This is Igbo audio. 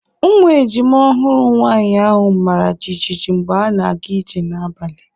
Ụmụ ejima ọhụrụ nwaanyị ahụ mara jijiji mgbe ha na-aga ije n'abalị.